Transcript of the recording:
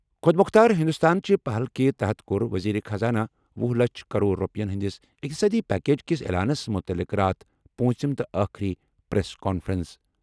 خۄد مۄختار ہِنٛدُستان چہِ پَہل کہِ تحت کوٚر ؤزیٖرِ خزانہٕ وہُ لَچھ کرور رۄپیَن ہِنٛدِس اِقتصٲدی پیکج کِس اعلانَس مُتعلِق راتھ پوٗنٛژِم تہٕ ٲخری پریس کانفرنس۔